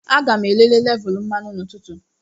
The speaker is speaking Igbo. Aga m elele lévulú mmanụ n'ụtụtụ